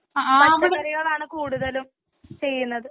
പച്ചക്കറികൾ ആണ് കുടുതലും ചെയ്യുന്നത്.